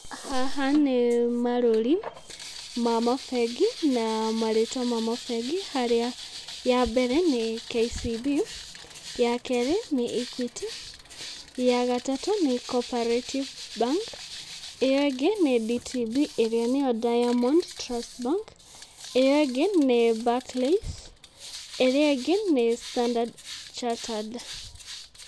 Haha nĩ marũri ma mabengi, na marĩtwa ma mabengi, harĩa ya mbere nĩ KCB ya kerĩ nĩ Equity, ya gatatũ, nĩ Coperative Bank, ĩyo ĩngĩ nĩ DTB ĩrĩa nĩyo Diamond Trust Bank, iyo ĩngĩ nĩ Barclays, ĩrĩa ĩngĩ nĩ Standard Charterd.